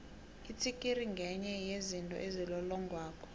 itsikiri ngenye yezinto ezilolongako